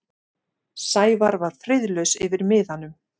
Sævar var friðlaus yfir miðanum.